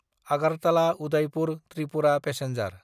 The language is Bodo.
आगारताला–उदायपुर ट्रिपुरा पेसेन्जार